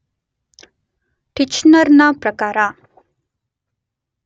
ಟಿಚ್ನರನ ಪ್ರಕಾರ